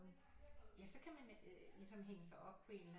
Ja så kan man ligesom hænge sig op på en eller anden